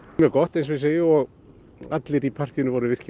mjög gott eins og ég segi og allir í partíinu voru